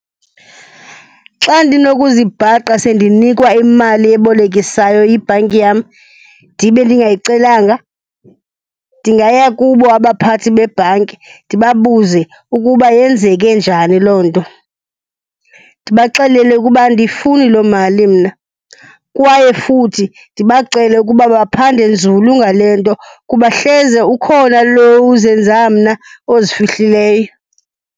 Xa ndinokuzibhaqa sendinikwa imali ebolekisayo yibhanki yam ndibe ndingayicelanga, ndingaya kubo abaphathi bebhanki ndibabuze ukuba yenzeke njani loo nto. Ndibaxelele ukuba andiyifuni loo mali mna kwaye futhi ndibacele ukuba baphande nzulu ngale nto kuba hleze ukhona lo uzenza mna ozifihlileyo.